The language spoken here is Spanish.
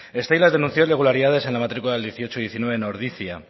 steilas denunció irregularidades en la matricula del dieciocho y diecinueve en ordizia